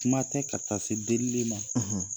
Kuma tɛ ka taa se delili ma